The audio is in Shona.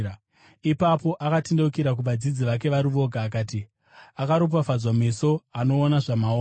Ipapo akatendeukira kuvadzidzi vake vari voga akati, “Akaropafadzwa meso anoona zvamuoona,